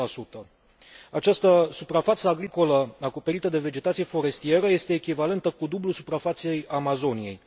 10 Această suprafață agricolă acoperită de vegetație forestieră este echivalentă cu dublul suprafeței Amazoniei.